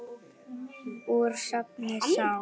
Úr safni SÁA.